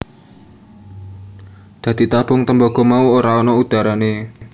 Dadi tabung tembaga mau ora ana udharane